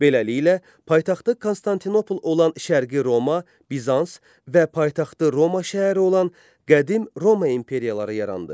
Beləliklə, paytaxtı Konstantinopol olan Şərqi Roma Bizans və paytaxtı Roma şəhəri olan qədim Roma imperiyaları yarandı.